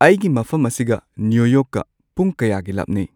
ꯑꯩꯒꯤ ꯃꯐꯝ ꯑꯁꯤꯒ ꯅ꯭ꯌꯨ ꯌꯣꯔꯛꯀ ꯄꯨꯡ ꯀꯌꯥꯒꯤ ꯂꯥꯞꯅꯩ